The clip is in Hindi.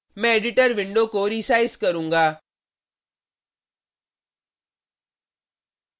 मैं एडिटर विंडो को रिसाइज़ करूंगा